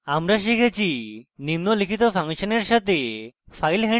আমরা শিখেছি নিম্নলিখিত ফাংশনের সাথে file handling